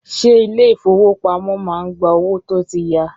Ṣé ilé ìfọwọ́pamo má ń gba owó tó tí ya.